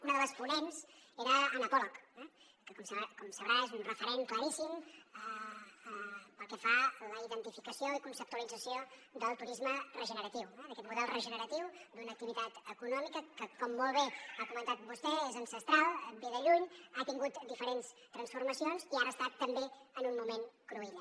una de les ponents era anna pollock que com deu saber és un referent claríssim pel que fa a la identificació i conceptualització del turisme regeneratiu d’aquest model regeneratiu d’una activitat econòmica que com molt bé ha comentat vostè és ancestral ve de lluny ha tingut diferents transformacions i ara està també en un moment cruïlla